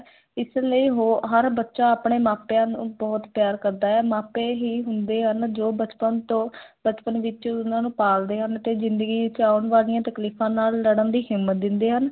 ਇਸ ਲਈ ਹੋ ਹਰ ਬੱਚਾ ਆਪਣੇ ਮਾਪਿਆਂ ਨੂੰ ਬਹੁਤ ਪਿਆਰ ਕਰਦਾ ਹੈ, ਮਾਪੇ ਹੀ ਹੁੰਦੇ ਹਨ ਜੋ ਬਚਪਨ ਤੋਂ ਬਚਪਨ ਵਿੱਚ ਉਹਨਾ ਨੂੰ ਪਾਲਦੇ ਹਨ ਤੇ ਜ਼ਿੰਦਗੀ ਵਿੱਚ ਆਉਣ ਵਾਲੀਆਂ ਤਕਲੀਫ਼ਾਂ ਨਾਲ ਲੜਨ ਦੀ ਹਿੰਮਤ ਦਿੰਦੇ ਹਨ।